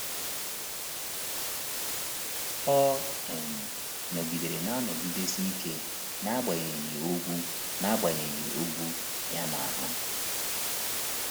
Ọ um nọgidere na-anọgidesi ike n’agbanyeghị ogwu n’agbanyeghị ogwu ya n’ahụ.